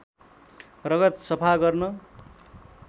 रगत सफा गर्न